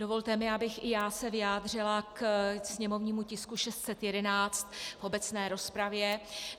Dovolte mi, abych i já se vyjádřila k sněmovnímu tisku 611 v obecné rozpravě.